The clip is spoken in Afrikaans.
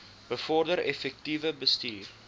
bevorder effektiewe bestuur